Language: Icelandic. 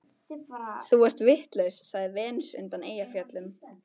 Þú ert vitlaus, sagði Venus undan Eyjafjöllum.